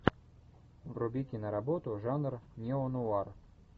вруби киноработу жанра неонуар